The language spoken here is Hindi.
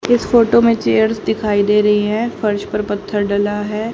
इस फोटो में चेयर्स दिखाई दे रही हैं फर्श पर पत्थर डला है।